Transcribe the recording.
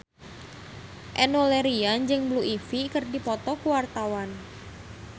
Enno Lerian jeung Blue Ivy keur dipoto ku wartawan